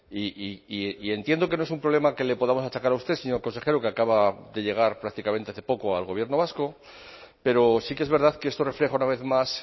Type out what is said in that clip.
y entiendo que no es un problema que le podamos achacar a usted señor consejero que acaba de llegar prácticamente hace poco al gobierno vasco pero sí que es verdad que esto refleja una vez más